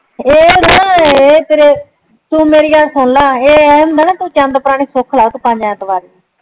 ਏ ਏ ਆ ਨਾ ਏ ਤੇਰੇ ਤੂ ਮੇਰੀ ਗੱਲ ਸੁਣ ਲਾ ਕੋਈ ਚੰਦ ਪੁਰਾਣੇ ਸੁਖ ਲਾ ਪੰਜ ਐਤਵਾਰ ਨੂੰ